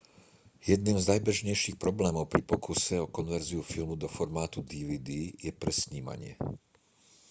jedným z najbežnejších problémov pri pokuse o konverziu filmu do formátu dvd je presnímanie